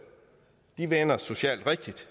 ned vender socialt rigtigt